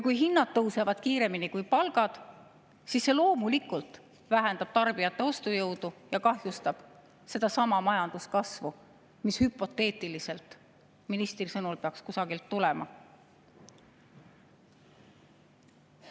Kui aga hinnad tõusevad kiiremini kui palgad, siis see loomulikult vähendab tarbijate ostujõudu ja kahjustab sedasama majanduskasvu, mis hüpoteetiliselt ministri sõnul peaks kusagilt tulema.